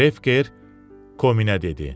Krefker Kominə dedi.